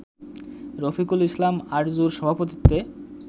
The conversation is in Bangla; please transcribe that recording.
রফিকুল ইসলাম আরজুর সভাপতিত্বে